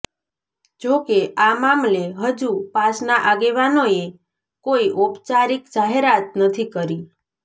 જો કે આ મામલે હજુ પાસના આગેવાનોએ કોઇ ઔપચારિક જાહેરાત નથી કરી